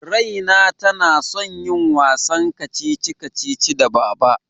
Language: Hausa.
Raina tana son yin wasan kacici-kacici da Baba.